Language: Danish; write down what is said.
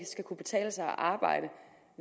skal kunne betale sig at arbejde